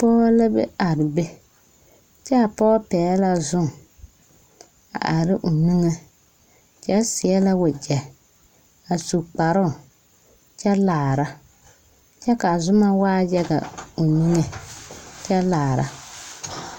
Pɔge la be are be kyɛ a pɔge pɛgle la zoma a are ne o niŋe kyɛ seɛ la wagyɛ a su kparoo kyɛ laara kyɛ k,a zoma waa yaga a kyɛ laara